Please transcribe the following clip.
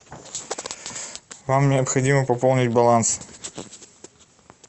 вам необходимо пополнить баланс